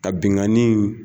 Ka binnkanni